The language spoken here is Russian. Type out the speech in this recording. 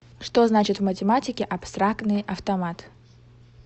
что значит в математике абстрактный автомат